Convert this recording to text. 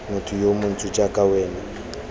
motho yo montsho jaaka wena